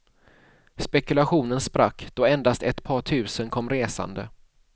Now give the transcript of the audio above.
Spekulationen sprack, då endast ett par tusen kom resande.